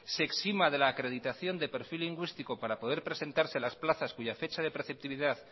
se exima de la acreditación de perfil lingüísticos para poder presentarse a las plazas cuya fecha de preceptividad